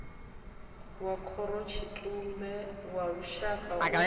wa khorotshitumbe wa lushaka u